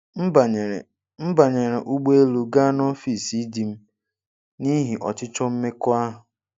M banyere M banyere ụgbọ elu gaa n'ọfịs di m n'ihi 'ọchịchọ mmekọahụ'.